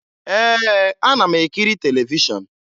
Ee, ana m ekiri televishọn